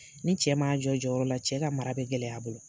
Ni cɛ m'a jɔ a jɔyɔrɔ la, cɛ ka mara bɛ gɛlɛya a bolo.